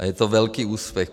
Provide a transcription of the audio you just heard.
A je to velký úspěch.